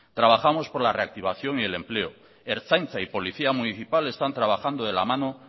trabajamos por la reactivación y el empleo ertzaintza y policía municipal están trabajando de la mano